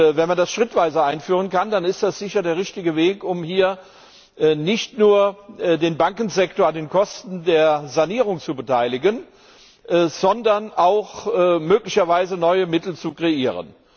Wenn man das schrittweise einführen kann, dann ist das sicher der richtige Weg, um hier nicht nur den Bankensektor an den Kosten der Sanierung zu beteiligen, sondern auch möglicherweise neue Mittel zu kreieren.